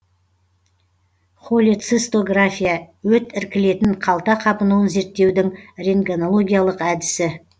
холецистография өт іркілетін қалта қабынуын зерттеудің рентгенологиялық әдісі